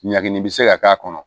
Ɲagini bi se ka k'a kɔnɔ